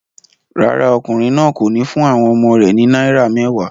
Rárá, ọkùnrin náà kò ní fún àwọn ọmọ rẹ̀ ní náírà mẹ́wàá.